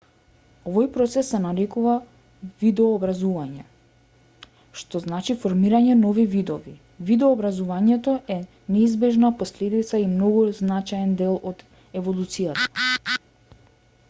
овој процес се нарекува видообразување што значи формирање нови видови видообразувањето е неизбежна последица и многу значаен дел од еволуцијата